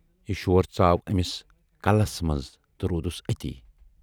یہِ شور ژاو أمِس کَلس منٛز تہٕ روٗدُس أتی۔